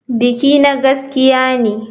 Bikina gaskiya ne.